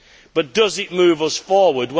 But does it move us forward?